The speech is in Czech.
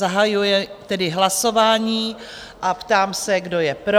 Zahajuji tedy hlasování a ptám se, kdo je pro?